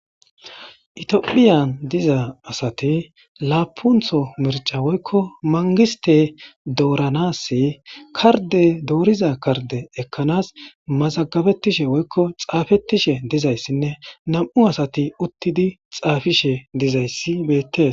Etophphiyan diza asati lapunththo mircca mangiste doranasi karde doriza karde ekanas mazagabetishshe woykko xafetishe dizaysine namu' asati uttidi xafishe dizaysi bettes.